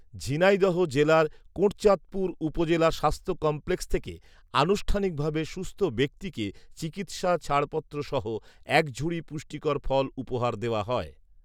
ঝিনাইদহ জেলার কোটচাঁদপুর উপজেলা স্বাস্থ্য কমপ্লেক্স থেকে আনুষ্ঠানিকভাবে সুস্থ ব্যক্তিকে চিকিৎসা ছাড়পত্র সহ এক ঝুড়ি পুষ্টিকর ফল উপহার দেওয়া হয়